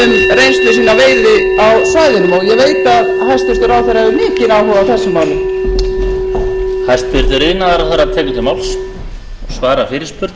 veiði á svæðinu og ég veit að hæstvirtur ráðherra hefur mikinn áhuga á þessu máli